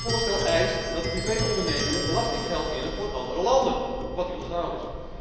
Het voorstel eist dat privé ondernemingen belastinggeld innen voor andere landen wat illegaal is.